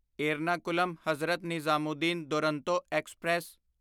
ਏਰਨਾਕੁਲਮ ਹ.ਨਿਜ਼ਾਮੂਦੀਨ ਦੁਰੰਤੋ ਐਕਸਪ੍ਰੈਸ